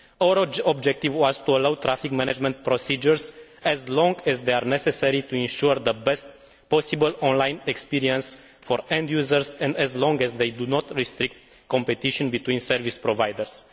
Our objective has been to allow traffic management procedures, as long as they are necessary, to ensure the best possible online experience for end users, and as long as they do not restrict competition between service providers.